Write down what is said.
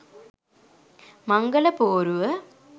මංගල පෝරුව